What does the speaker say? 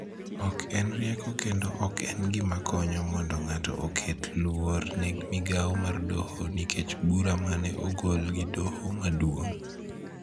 Ok en rieko kendo ok en gima konyo mondo ng�ato oket luor ne migao mar doho nikech bura ma ne ogol gi Doho Maduong�.